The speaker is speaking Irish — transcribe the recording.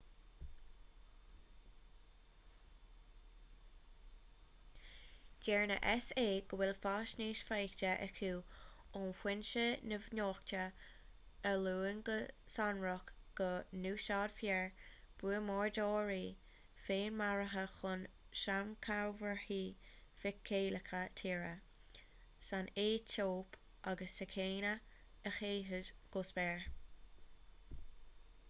deir na s.a. go bhfuil faisnéis faighte acu ó fhoinse neamhnochta a luann go sonrach go n-úsáidfear buamadóirí féinmharaithe chun sainchomharthaí feiceálacha tíre san aetóip agus sa chéinia a shéideadh go spéir